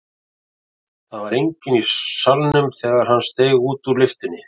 Það var enginn í salnum þegar hann steig út úr lyftunni.